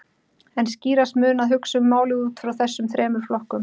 En skýrast mun að hugsa um málið út frá þessum þremur flokkum.